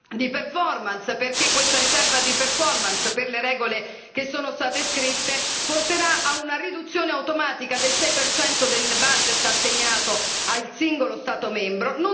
di perfomance perché essa, a causa delle regole che sono state scritte, porterà a una riduzione automatica del 6 percento del budget assegnato al singolo Stato membro.